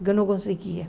Eu não conseguia.